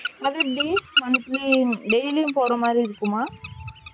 அது days monthly daily யும் போற மாதிரி இருக்குமா